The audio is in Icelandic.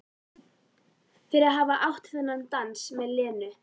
Fyrir að hafa átt þennan dans með Lenu.